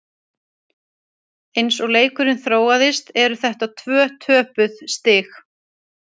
Eins og leikurinn þróaðist eru þetta tvö töpuð stig.